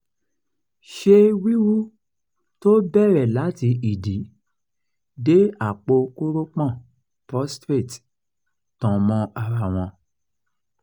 ṣé wíwú tó bẹ̀rẹ̀ láti ìdí dé àpò kórópọ̀n prostrate tan mọ́ ara wọn?